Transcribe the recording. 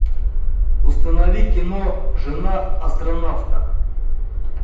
установи кино жена астронавта